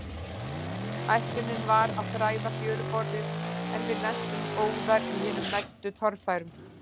Ætlunin var að þræða fjöruborðið, en við lentum óðara í hinum mestu torfærum.